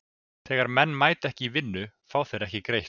Þegar menn mæta ekki í vinnuna fá þeir ekki greitt.